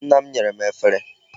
Nne m nyere m efere.